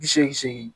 Bi seegin seegin